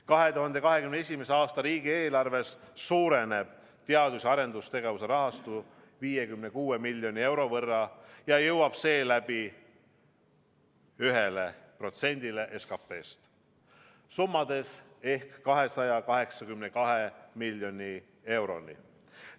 2021. aasta riigieelarves suureneb teadus- ja arendustegevuse rahastus 56 miljoni euro võrra ja jõuab seeläbi 1%-ni SKP-st ehk summades 282 miljoni euroni.